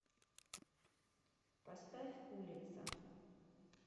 поставь улица